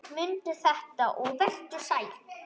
Mundu þetta og vertu sæll!